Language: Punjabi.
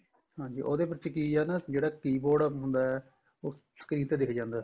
ਹਾਂਜੀ ਉਹਦੇ ਵਿੱਚ ਕੀ ਏ ਨਾ ਜਿਹੜਾ keyboard ਹੁੰਦਾ ਉਹ screen ਤੇ ਦਿੱਖ ਜਾਂਦਾ